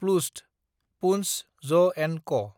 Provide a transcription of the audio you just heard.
प्लुस्ट (पुन्स ज&क)